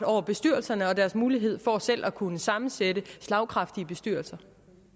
over bestyrelserne og deres mulighed for selv at kunne sammensætte slagkraftige bestyrelser